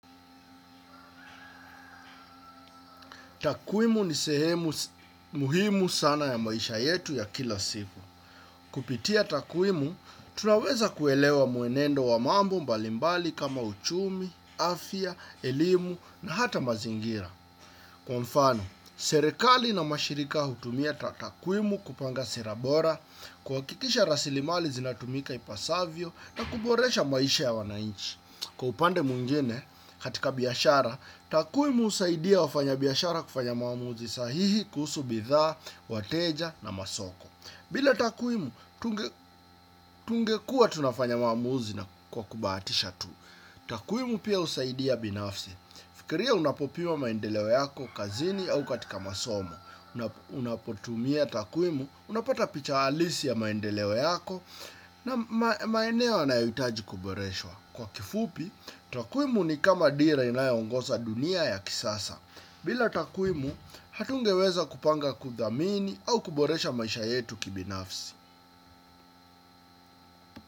Takuwimu ni sehemu muhimu sana ya maisha yetu ya kila siku. Kupitia takuwimu, tunaweza kuelewa muenendo wa mambo mbalimbali kama uchumi, afya, elimu na hata mazingira. Kwa mfano, serekali na mashirika hutumia takuwimu kupanga sera bora, kuhakikisha rasilimali zinatumika ipasavyo, na kuboresha maisha ya wanainchi. Kwa upande mwngine, katika biashara, takuwimu husaidia wafanya biashara kufanya maamuzi sahihi kuhusu bidhaa, wateja na masoko. Bila takuwimu, tungekua tunafanya maamuzi kwa kubahatisha tu. Takuimu pia usaidia binafsi. Fikiria unapopima maendeleo yako kazini au katika masomo. Unapotumia takuwimu, unapata picha halisi ya maendeleo yako na maeneo yanayohitaji kuboreshwa. Kwa kifupi, takuwimu ni kama dira inayongoza dunia ya kisasa. Bila takuwimu, hatungeweza kupanga, kuthamini au kuboresha maisha yetu kibinafsi.